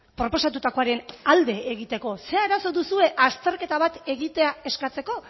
proposatutakoaren alde egiteko ze arazo duzue azterketa bat egitea eskatzeko